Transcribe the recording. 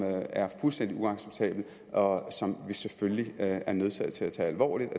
er fuldstændig uacceptabelt og som vi selvfølgelig er er nødsaget til at tage alvorligt